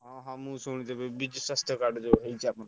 ହଁ ହଁ ମୁଁ ଶୁଣିଥିଲି ବିଜୁ ସ୍ବାସ୍ଥ୍ୟ card ଯୋଉ ହେଇଛି।